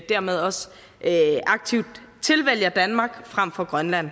dermed også aktivt tilvælger danmark frem for grønland